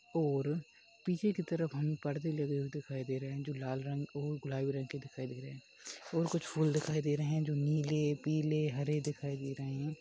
ओर पीछे की तरफ हमें पर्दे लगे हुए दिखाई दे रहे हैं जो लाल रंग और गुलाबी रंग के दिखाई दे रहे हैं और कुछ फूल दिखाई दे रहे हैं जो नीले पीले हरे दिखाई दे रहे हैं।